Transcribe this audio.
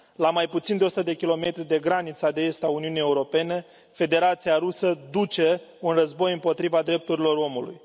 La mai puțin de 100 de kilometri de granița de est a Uniunii Europene, Federația Rusă duce un război împotriva drepturilor omului.